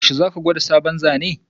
Yaushe ka gwada sabon Zane?